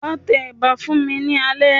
Wà á tẹ ẹ̀bà fún mi alẹ́.